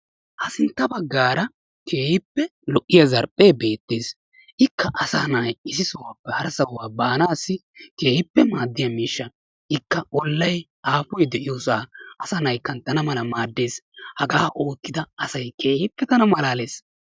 Ha sintta baggaara keehippe lo"iya zarphphee beettes. Ikka asa na'ay issi sohuwappe hara sohuwa baanaassi keehippe maaddiya miishsha ikka ollay aafoy de'iyoosa asa na'ay kanttana mala maaddes hagaa oottida asayi keehippe tana malaales.